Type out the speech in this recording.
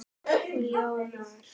Og ljómar.